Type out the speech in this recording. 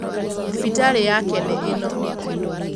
Thibitarĩ yake nĩ ĩno